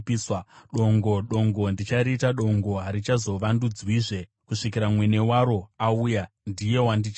Dongo! Dongo! Ndichariita dongo! Harichazovandudzwazve kusvikira mwene waro auya; ndiye wandichapa.’